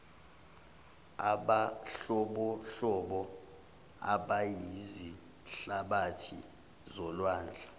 abanhlobonhlobo abayizihlabathi zolwandle